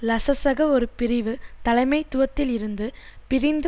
லசசக ஒரு பிரிவு தலைமைத்துவத்தில் இருந்து பிரிந்து